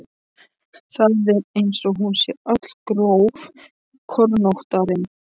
Það er eins og hún sé öll grófkornóttari.